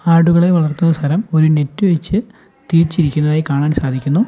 ആടുകളെ വളർത്തുന്ന സ്ഥലം ഒരു നെറ്റ് വെച്ച് തിരിച്ചിരിക്കുന്നതായി കാണാൻ സാധിക്കുന്നു.